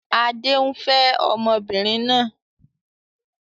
Adé ń fẹ́ ọmọbìnrin náà